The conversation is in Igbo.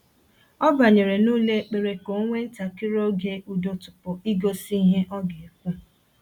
O banyere n'ụlọ ekpere ka o nwee ntakịrị oge udo tupu igosi ihe ọ ga-ekwu.